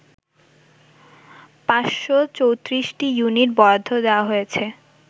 ৫৩৪টি unit বরাদ্দ দেয়া হয়েছে